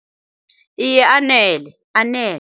Iye, anele, anele.